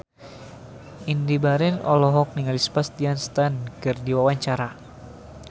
Indy Barens olohok ningali Sebastian Stan keur diwawancara